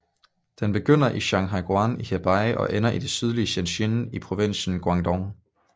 Den begynder i Shanhaiguan i Hebei og ender i det sydlige Shenzhen i provinsen Guangdong